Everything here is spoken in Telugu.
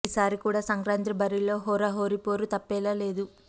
ఈ సారి కూడా సంక్రాంతి బరిలో హోరాహోరీ పోరు తప్పేలా లేదు